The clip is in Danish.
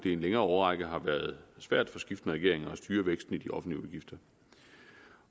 i en længere årrække har været svært for skiftende regeringer at styre væksten i de offentlige udgifter